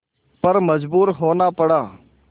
पर मजबूर होना पड़ा